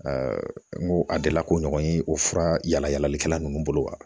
n ko a delila k'o ɲɔgɔn ye o fura yala yalalikɛla ninnu bolo wa